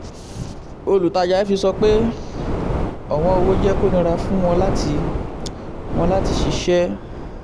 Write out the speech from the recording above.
olùtajà fx sọ pé ọ̀wọ́n owó jẹ́ kó nira fún wọ́n láti wọ́n láti ṣiṣẹ́.